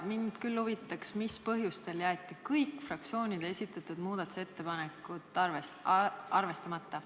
Mind küll huvitab, mis põhjustel jäeti kõik fraktsioonide esitatud muudatusettepanekud arvestamata.